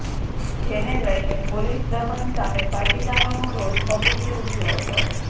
જેને લઇને પોલીસ દમન સામે પાટીદારોનો રોષ ભભૂકી ઉઠયો હતો